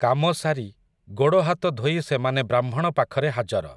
କାମସାରି, ଗୋଡ଼ହାତ ଧୋଇ ସେମାନେ ବ୍ରାହ୍ମଣ ପାଖରେ ହାଜର ।